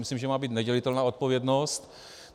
Myslím, že má být nedělitelná odpovědnost.